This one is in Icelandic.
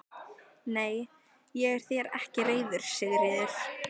Nei, ég er þér ekki reiður Sigríður.